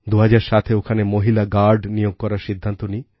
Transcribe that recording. ২০০৭এ ওখানে মহিলা গার্ড নিয়োগ করার সিদ্ধান্ত নিই